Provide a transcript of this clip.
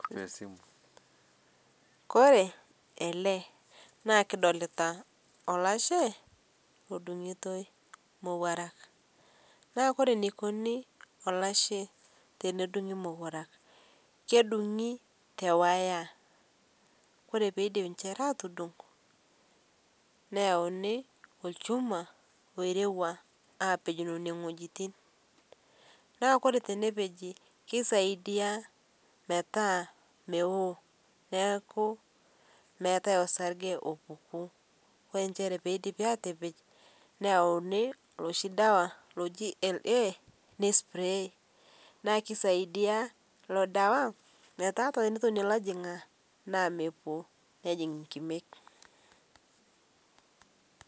oree ele naa kidolita olashe odung'itoi imoruak naa oree eneikuni olashe tenedung'i imoruak kedung'i tewaya neyauni olchumaa oirewua apej nena wejitin naa oree tenepeji keisaidia metaa meo neaku meetai osarge opuku oo enjere peidipi aatepej neyauni looshi sarge oji LA neispray naa kesisaidia ilo dawa metaa tenetonie ilojong'ak mejing' inkimek